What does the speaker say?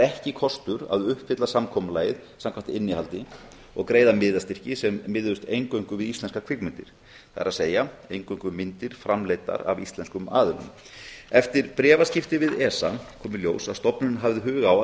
ekki kostur að uppfylla samkomulagið samkvæmt innihaldi og greiða miðastyrki sem miðuðust eingöngu við íslenskar kvikmyndir það er eingöngu myndir framleiddar af íslenskum aðilum eftir bréfaskipti við esa kom í ljós að stofnunin hafði hug á að